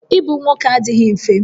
Ịbụ nwoke adịghị mfe